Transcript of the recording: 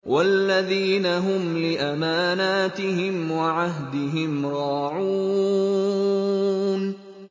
وَالَّذِينَ هُمْ لِأَمَانَاتِهِمْ وَعَهْدِهِمْ رَاعُونَ